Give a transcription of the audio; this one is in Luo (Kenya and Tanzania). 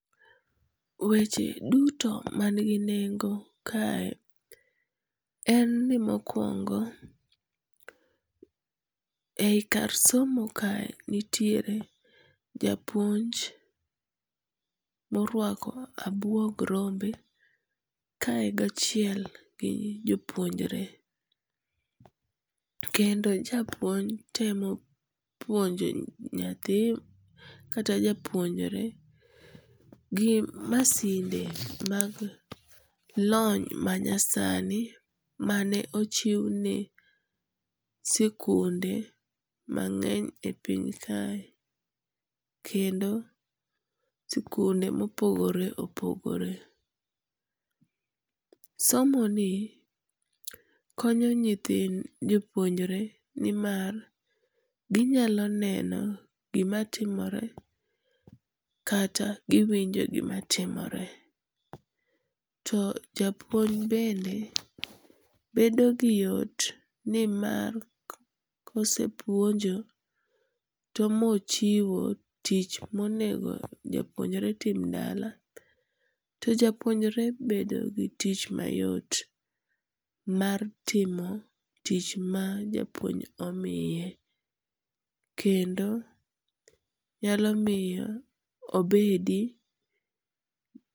Weche duto manigi nengo kae en ni mokuongo, ei kar somo kae nitiere japuonj moruako abuog rombe kae gachiel gi jopuonjre, kendo japuonj temo puonjo nyathi kata japuonjre gi masinde mag lony manyasani mane ochiwni sikunde mang'eny e piny kae, kendo sikunde ma opogore opogore. Somoni konyo nyithi jopuonjre ni mar ginyalo neno kata giwinj gimatimore to japuonj bende bedo gi yot ni mar kosepuonjo to mochiyo tich monego jopuonjre tim dala to japuonjre bedo gi tich mayot mar timo tich mar japuonj omiye kendo nyalo miyo obedi.